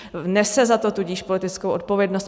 Nese za to tudíž politickou zodpovědnost.